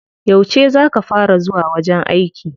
Yauce za ka fara zuwa wajen aiki?